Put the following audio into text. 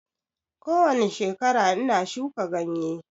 Kowani shekara ina shuka ganye